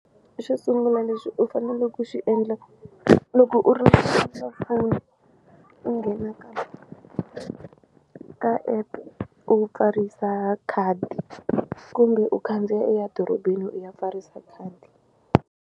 Xo sungula lexi u fanele ku xi endla loko u ri u nghena ka ka epe u pfarisa khadi kumbe u khandziya u ya dorobeni u ya pfarisa khadi.